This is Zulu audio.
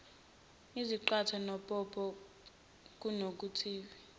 izaqathe nopopo kunovithamini